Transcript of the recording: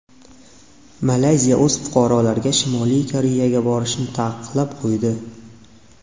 Malayziya o‘z fuqarolariga Shimoliy Koreyaga borishni taqiqlab qo‘ydi.